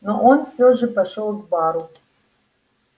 но он всё же пошёл к бару